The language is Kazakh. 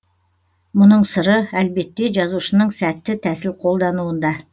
мұның сыры әлбетте жазушының сәтті тәсіл қолдануында